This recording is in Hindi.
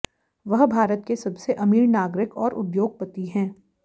वह भारत के सबसे अमीर नागरिक और उद्योगपति हैं